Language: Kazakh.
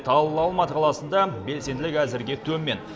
ал алматы қаласында белсенділік әзірге төмен